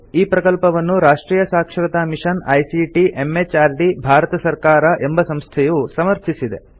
ಈ ಪ್ರಕಲ್ಪವನ್ನು ರಾಷ್ಟ್ರಿಯ ಸಾಕ್ಷರತಾ ಮಿಷನ್ ಐಸಿಟಿ ಎಂಎಚಆರ್ಡಿ ಭಾರತ ಸರ್ಕಾರ ಎಂಬ ಸಂಸ್ಥೆಯು ಸಮರ್ಥಿಸಿದೆ